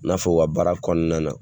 I n'a f'o ka baara kɔnɔna na